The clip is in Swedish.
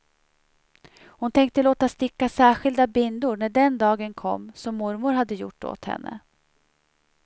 Hon tänkte låta sticka särskilda bindor när den dagen kom, som mormor hade gjort åt henne.